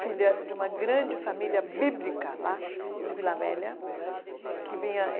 Filha de uma grande família bíblica lá de Vila Velha que vinha.